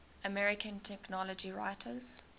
american technology writers